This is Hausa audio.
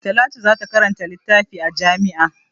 Talatu za ta karanta littafi a jami'a.